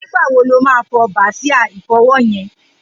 Nigbá wó ló mà fọ bàsiá ifọwọ yèn?